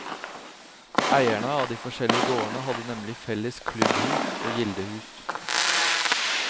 Eierne av de forskjellige gårdene hadde nemlig felles klubbhus og gildehus.